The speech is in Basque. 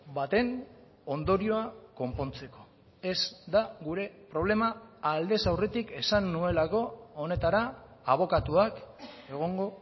baten ondorioa konpontzeko ez da gure problema aldez aurretik esan nuelako honetara abokatuak egongo